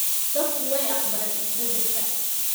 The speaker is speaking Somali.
Dadku way aqbaleen isbeddelka.